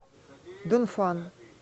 дунфан